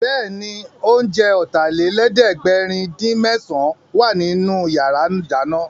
Bẹ́ẹ̀ni, oúnjẹ Ọ̀tàlélẹ̀ẹ́dẹ́gbẹ̀rin-dín-mésàn wà nínú yàrá ìdáná